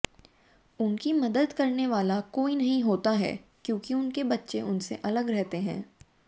उनकी मदद करने वाला कोई नहीं होता है क्योंकि उनके बच्चे उनसे अलग रहते हैं